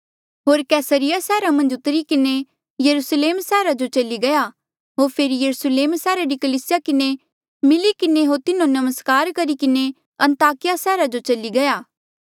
होर कैसरिया सैहरा मन्झ उतरी किन्हें यरुस्लेम सैहरा जो चली गया होर फेरी यरुस्लेम सैहरा री कलीसिया किन्हें मिली किन्हें होर तिन्हो नमस्कार करी किन्हें अन्ताकिया सैहरा जो चली गया